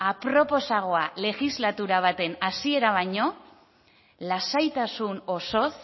aproposagoa legislatura baten hasiera baino lasaitasun osoz